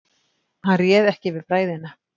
Hann réð ekki við bræðina.